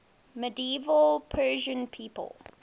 medieval persian people